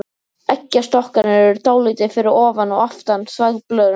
Eggjastokkarnir eru dálítið fyrir ofan og aftan þvagblöðruna.